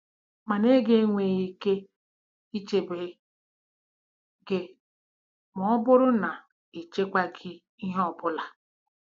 Mana ego enweghị ike ichebe gị ma ọ bụrụ na ị chekwaaghị ihe ọ bụla!